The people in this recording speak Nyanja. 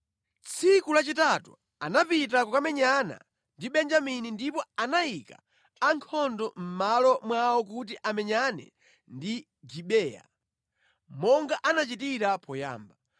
Tsiku lachitatu anapita kukamenyana ndi Benjamini ndipo anayika ankhondo mʼmalo mwawo kuti amenyane ndi Gibeya monga anachitira poyamba.